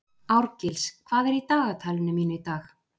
Árgils, hvað er í dagatalinu mínu í dag?